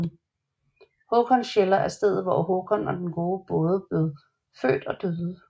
Håkonshella er stedet hvor Håkon den gode både blev født og døde